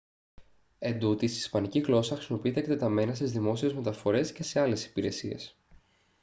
εντούτοις η ισπανική γλώσσα χρησιμοποιείται εκτεταμένα στις δημόσιες μεταφορές και σε άλλες υπηρεσίες